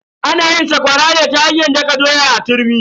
Ana yin sakwara ne ta hanyar daka doya a turmi.